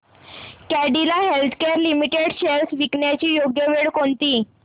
Cadila healthcare limited shares विकण्याची योग्य वेळ कोणती